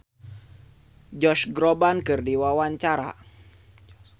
Aura Kasih olohok ningali Josh Groban keur diwawancara